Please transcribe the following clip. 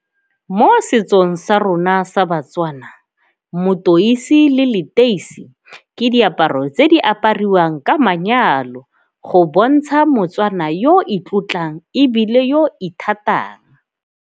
Mo setsong sa rona sa baTswana motoitsi le leteisi ke diaparo tse di apariwang ka manyalo go bontsha moTswana yo o itlotlang ebile yo ithatang.